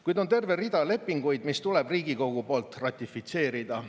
Kuid on terve rida lepinguid, mis tuleb Riigikogu poolt ratifitseerida.